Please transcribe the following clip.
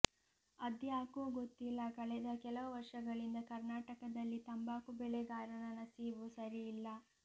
ಅದ್ಯಾಕೋ ಗೊತ್ತಿಲ್ಲ ಕಳೆದ ಕೆಲವು ವರ್ಷಗಳಿಂದ ಕರ್ನಾಟಕದಲ್ಲಿ ತಂಬಾಕು ಬೆಳೆಗಾರನ ನಸೀಬು ಸರಿಯಿಲ್ಲ